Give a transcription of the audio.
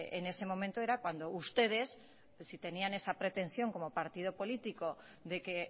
en ese momento era cuando ustedes si tenían esa pretensión como partido político de que